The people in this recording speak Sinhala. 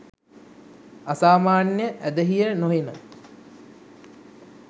අසාමාන්‍ය ඇදහිය නොහෙන